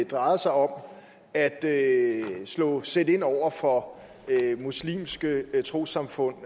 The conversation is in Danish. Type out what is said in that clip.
drejet sig om at at sætte ind over for muslimske trossamfund